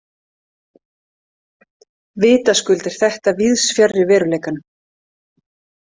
Vitaskuld er þetta víðs fjarri veruleikanum.